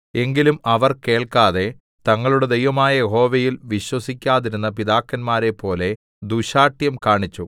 എങ്കിലും അവർ കേൾക്കാതെ തങ്ങളുടെ ദൈവമായ യഹോവയിൽ വിശ്വസിക്കാതിരുന്ന പിതാക്കന്മാരെപ്പോലെ ദുശ്ശാഠ്യം കാണിച്ചു